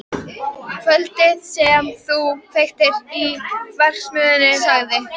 Kvöldið sem þú kveiktir í verksmiðjunni sagði